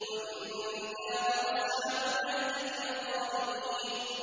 وَإِن كَانَ أَصْحَابُ الْأَيْكَةِ لَظَالِمِينَ